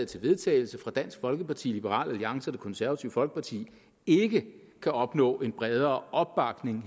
til vedtagelse fra dansk folkeparti liberal alliance og det konservative folkeparti ikke kan opnå en bredere opbakning